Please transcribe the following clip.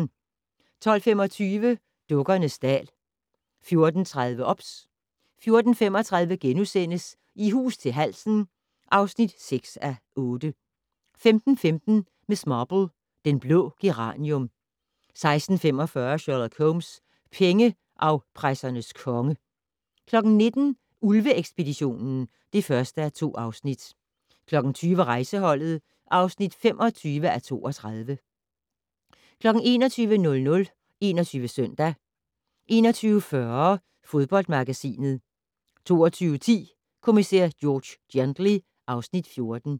12:25: Dukkernes dal 14:30: OBS 14:35: I hus til halsen (6:8)* 15:15: Miss Marple: Den blå geranium 16:45: Sherlock Holmes: Pengeafpressernes konge 19:00: Ulve-ekspeditionen (1:2) 20:00: Rejseholdet (25:32) 21:00: 21 Søndag 21:40: Fodboldmagasinet 22:10: Kommissær George Gently (Afs. 14)